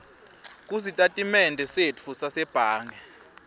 kusitatimende setfu sasebhange